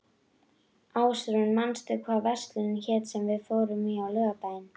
Ásrún, manstu hvað verslunin hét sem við fórum í á laugardaginn?